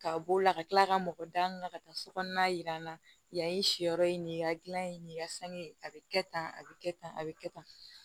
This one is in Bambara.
Ka b'o la ka kila ka mɔgɔ da ka taa sokɔnɔna yira n na yan si yɔrɔ ye nin ye ka gilan ye nin ka sange a bɛ kɛ tan a bɛ kɛ tan a bɛ kɛ tan